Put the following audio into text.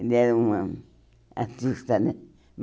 Ele era um hum artista, né?